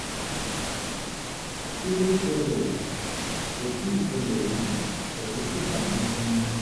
kí ló ṣẹlẹ̀? kò tíì ṣẹlẹ̀ rí ẹ̀rù sì bà mí gan-an